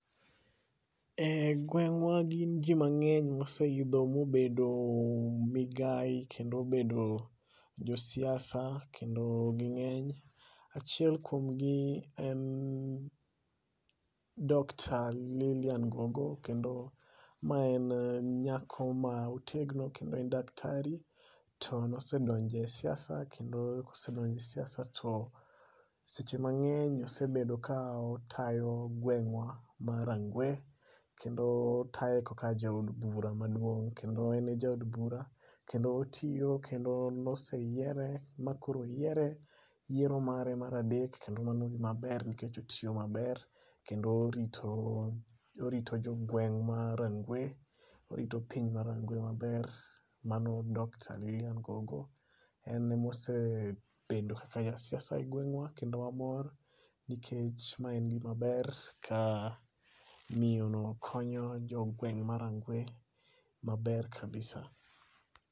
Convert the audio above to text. E gweng'wa gin jii mang'eny moseidho mobedo, migai kendo obedo josiasa, kendo ging'eny. Achiel kuomgi en Dr Lilian Gogo kendo ma en nyako ma otegno kendo en daktari to nosedonje siasa, kendo kosedonje siasa to seche mang'eny osebedo ka otayo gweng'wa ma Rangwe. Kendo otaye kaka jaod bura maduong' kendo en e jaod bura, kendo otiyo, kendo noseyiere, ma koro oyiere, yiero mare mar adek kendo mano en gimaber nikech otiyo maber, kendo orito orito jogweng' ma Rangwe, orito piny ma Rangwe maber. Mano Dr Lilian Gogo, en e mose bedo kaka jasiasa e gweng'wa kendo wamor nikech ma en gimaber ka miyo no konyo jo gweng' ma Rangwe maber kabisa